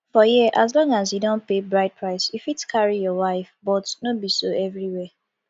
for here as long as you don pay bride price you fit carry your wife but no be so everywhere